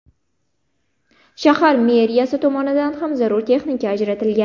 Shahar meriyasi tomonidan ham zarur texnika ajratilgan.